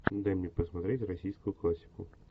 дай мне посмотреть российскую классику